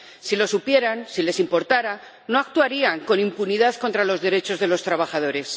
Si lo supieran, si les importara, no actuarían con impunidad contra los derechos de los trabajadores.